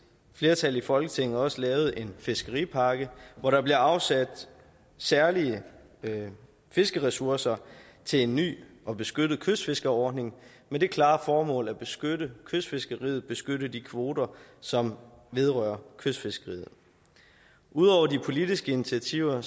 flertal i folketinget også lavet en fiskeripakke hvor der bliver afsat særlige fiskeressourcer til en ny og beskyttet kystfiskerordning med det klare formål at beskytte kystfiskeriet beskytte de kvoter som vedrører kystfiskeriet ud over de politiske initiativer er